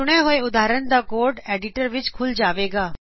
ਚੁਣੇ ਹੋਏ ਉਦਹਾਰਨ ਦਾ ਕੋਡ ਐਡਿਟਰ ਵਿਚ ਖੁੱਲ ਜਾਵੇਗਾ